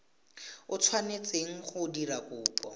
o tshwanetseng go dira kopo